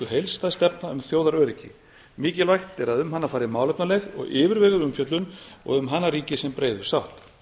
stefna um þjóðaröryggi mikilvægt er að um hana fari fram málefnaleg og yfirveguð umfjöllun og um hana ríki sem breiðust sátt